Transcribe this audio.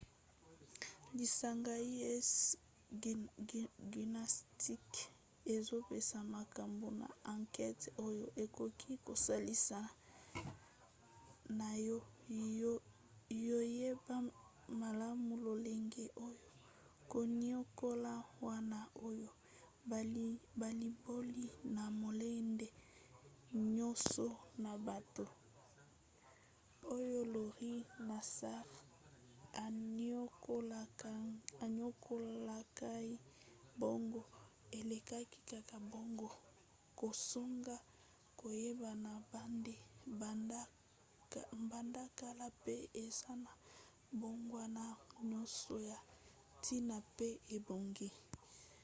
lisanga usa gymnastics ezopesa makambo na ankete oyo ekoki kosalisa na ya koyeba malamu lolenge oyo koniokola wana oyo balimboli na molende nyonso na bato oyo larry nassar aniokolakai bango elekaki kaka bongo kozanga koyebana banda kala pe eza na mbongwana nyonso ya ntina pe ebongi